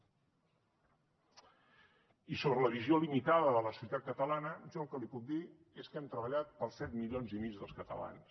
i sobre la visió limitada de la societat catalana jo el que li puc dir és que hem treballat per als set milions i mig dels catalans